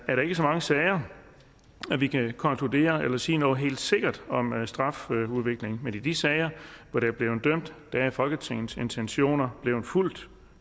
er der ikke så mange sager at vi kan konkludere eller sige noget helt sikkert om strafudviklingen men i de sager hvor der er blevet dømt er folketingets intentioner blevet fulgt